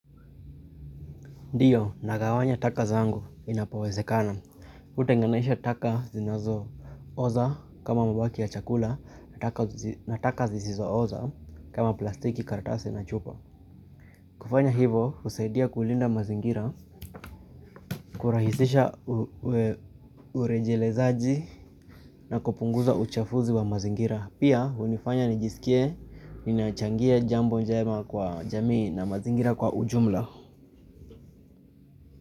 Ndiyo, nagawanya taka zangu inapowezekana. Hutenganisha taka zinazo oza kama mabaki ya chakula na taka zisizo oza kama plastiki karatasi na chupa. Kufanya hivo, husaidia kulinda mazingira, kurahisisha urejelezaji na kupunguza uchafuzi wa mazingira. Pia, hunifanya nijisikie, ninachangia jambo njema kwa jamii na mazingira kwa ujumla.